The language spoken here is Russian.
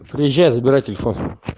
приезжай забирай телефон